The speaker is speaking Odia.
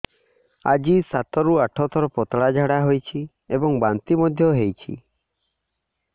ଆଜି ସାତରୁ ଆଠ ଥର ପତଳା ଝାଡ଼ା ହୋଇଛି ଏବଂ ବାନ୍ତି ମଧ୍ୟ ହେଇଛି